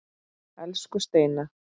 Elsku Steina.